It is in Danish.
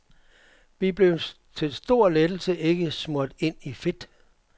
Vi blev til stor lettelse ikke smurt ind i fedt.